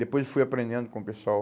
Depois eu fui aprendendo com o pessoal.